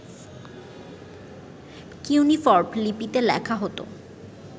cuneiform লিপিতে লেখা হত